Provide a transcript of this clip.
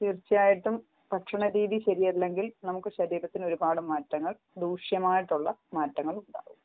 തീർച്ചയായിട്ടും ഭക്ഷണ രീതി ശെരിയെല്ലെങ്കിൽ നമ്മുക്ക് ശരീരത്തിൽ ഒരുപാട് മാറ്റങ്ങൾ ദൂശ്യമായിട്ടുള